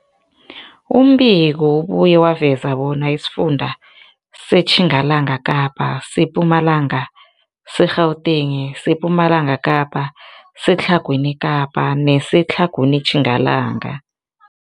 Umbiko ubuye waveza bona isifunda seTjingalanga Kapa, seMpumalanga, seGauteng, sePumalanga Kapa, seTlhagwini Kapa neseTlhagwini Tjingalanga.